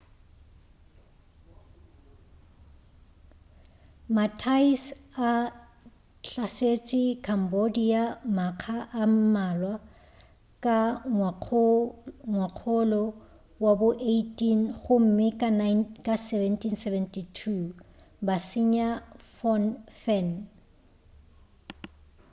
ma-thais a hlasetše cambodia makga a mmalwa ka ngwakgolo wa bo 18 gomme ka 1772 ba senya phnom phen